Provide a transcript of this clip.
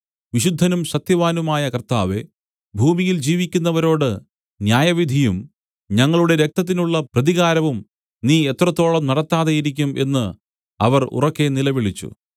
വിശുദ്ധനും സത്യവാനുമായ കർത്താവേ ഭൂമിയിൽ ജീവിക്കുന്നവരോട് ന്യായവിധിയും ഞങ്ങളുടെ രക്തത്തിനുള്ള പ്രതികാരവും നീ എത്രത്തോളം നടത്താതെയിരിക്കും എന്നു അവർ ഉറക്കെ നിലവിളിച്ചു